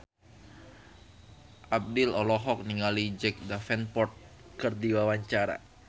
Abdel olohok ningali Jack Davenport keur diwawancara